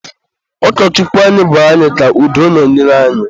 Ụkọchukwu anyị gwara anyị ka udo nọnyere anyị..